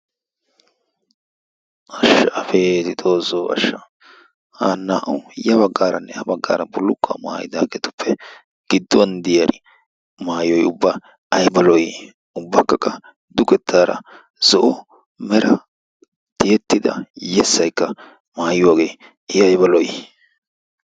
Abeeti xoosso ashsha! Hanna oonee? ya baggaaranne ha baggaara bullukkuwa mayidaageetuppe gidduwan diyari maayoy ubba ayiba lo'i! Ubbakka qa dugettaara zo'o mera tiyettida yessayikka mayuwagee i ayiba lo'i!